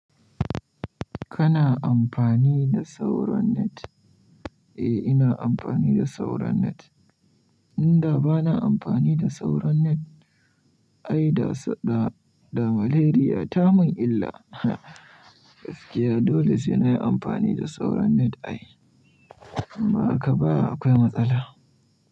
Kana amfani da sauran net? Eh, ina amfani da sauran net. Inda ba na amfani da sauran net ai da sa da maleria ta mun illa. Gaskiya dole sai na yi amfani da sauran net ai. In ba haka ba akwai matsala.